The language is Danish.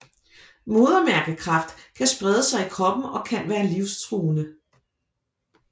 Modermærkekræft kan sprede sig i kroppen og kan være livsstruende